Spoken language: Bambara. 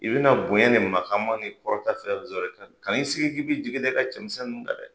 I bi na bonya ni makama ni kɔrɔtan fɛn wofɛn sɔrɔ kan'i sigi k'i b'i jigin da i ka cɛmisɛn ninnu kan dɛ!